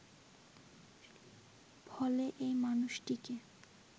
ফলে এ মানুষটিকে